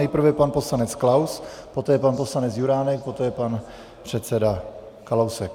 Nejprve pan poslanec Klaus, poté pan poslanec Juránek, poté pan předseda Kalousek.